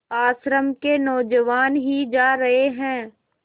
आश्रम के नौजवान ही जा रहे हैं